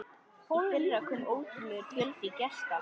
Í fyrra kom ótrúlegur fjöldi gesta.